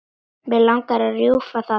Mig langar að rjúfa það.